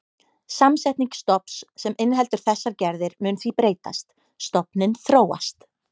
Samsetning stofns sem inniheldur þessar gerðir mun því breytast, stofninn þróast.